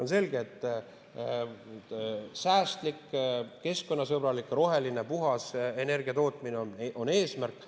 On selge, et säästlik, keskkonnasõbralik, roheline, puhas energiatootmine on eesmärk.